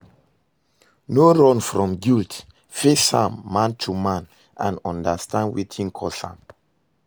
No run from guilt, face am man to man and undastand wetin cause am